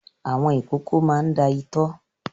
Àwọn ìkókó máa ń da itọ́.